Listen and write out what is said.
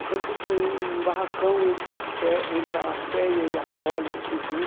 Depois a gente ganhou um barracão entre a fe entre a FEIA e a Poli, civil.